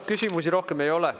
Küsimusi rohkem ei ole.